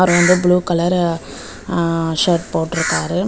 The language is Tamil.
வந்து ப்ளூ கலரு அ ஷர்ட் போட்ருக்காரு.